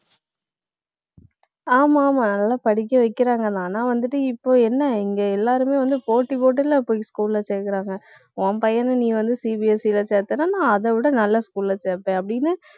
ஆமா, ஆமா நல்லா படிக்க வைக்கிறாங்கதான். ஆனா வந்துட்டு, இப்போ என்ன, இங்கே எல்லாருமே வந்து, போட்டி போட்டுலே போய் school ல சேர்க்கிறாங்க உன் பையன நீ வந்து, CBSE ல சேர்த்தேன்னா நான், அதை விட நல்ல school ல சேர்ப்பேன். அப்படின்னு